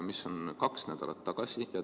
See oli kaks nädalat tagasi.